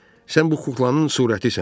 sən bu kuklanın surətisən.